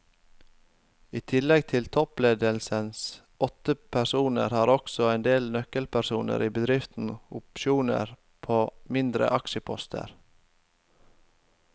I tillegg til toppledelsens åtte personer har også en del nøkkelpersoner i bedriften opsjoner på mindre aksjeposter.